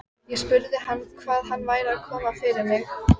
Ég spurði hann hvað væri að koma fyrir mig.